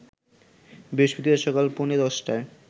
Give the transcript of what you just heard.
বৃহস্পতিবার সকাল পৌনে ১০টায়